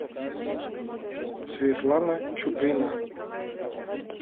светлана чуприна